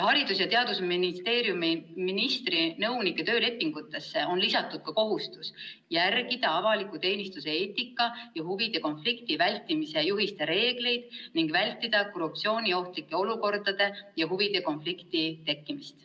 Haridus- ja Teadusministeeriumi ministri nõuniku töölepingusse on lisatud ka kohustus järgida avaliku teenistuse eetika ja huvide konflikti vältimise juhiste reegleid ning vältida korruptsiooniohtlike olukordade ja huvide konflikti tekkimist.